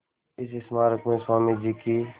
इस स्मारक में स्वामी जी की